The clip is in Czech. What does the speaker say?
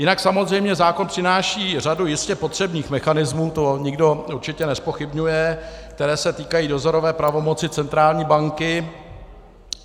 Jinak samozřejmě zákon přináší řadu jistě potřebných mechanismů, to nikdo určitě nezpochybňuje, které se týkají dozorové pravomoci centrální banky.